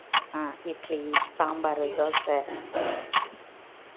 ஆஹ் idli, sambar, dosa